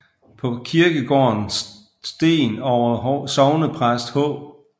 På kirkegården sten over sognepræst H